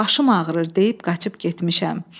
Başım ağrır deyib qaçıb getmişəm.